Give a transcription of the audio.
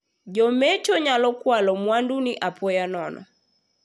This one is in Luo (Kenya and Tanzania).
Jomecho nyalo kwalo mwanduni apoya nono.